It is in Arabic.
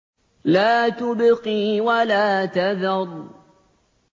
لَا تُبْقِي وَلَا تَذَرُ